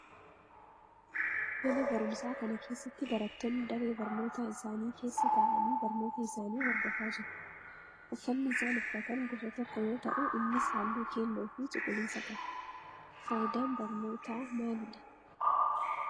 Mana barumsaa kana keessatti barattoonni daree barnootaa isaanii keessa ta'aanii barnoota isaanii hordofaa jiru. Uffanni isaan uffatan gosa tokko yoo ta'u innis halluu keelloo fi cuquliisa qaba. Faayidaan barnootaa maalidha?